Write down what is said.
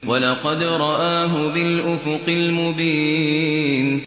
وَلَقَدْ رَآهُ بِالْأُفُقِ الْمُبِينِ